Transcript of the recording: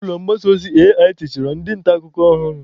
Ulọ mgbasa ozi AIT chọrọ ndị nta akụkọ ọhụrụ.